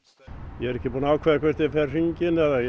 ég er ekki búinn að ákveða hvort ég fer hringinn eða ég